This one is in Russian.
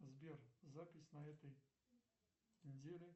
сбер запись на этой неделе